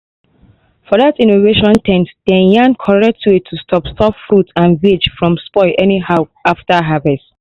for that innovation ten t dem yarn correct way to stop stop fruit and veg from spoil anyhow after harvest